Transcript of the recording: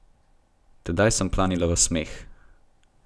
Tedaj sem planila v smeh.